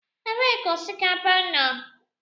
Ebee ka osikapa nọ?